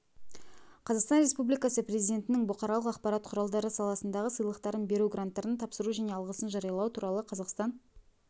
қазақстан республикасы президентінің бұқаралық ақпарат құралдары саласындағы сыйлықтарын беру гранттарын тапсыру және алғысын жариялау туралы қазақстан